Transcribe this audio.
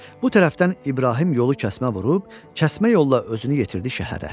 Bu tərəfdən İbrahim yolu kəsmə vurub kəsmə yolla özünü yetirdi şəhərə.